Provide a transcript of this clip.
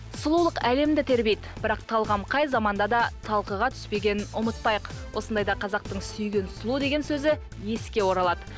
сұлулық әлемді тербейді бірақ талғам қай заманда да талқыға түспеген ұмытпайық осындайда қазақтың сүйген сұлу деген сөзі еске оралады